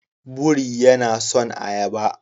Buri yana son ayaba.